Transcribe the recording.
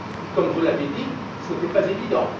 Comme vous l'avez dit, ce n'était pas évident.